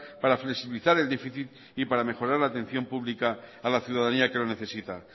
para flexibilizar el déficit y para mejorar la atención pública a la ciudadanía que lo necesita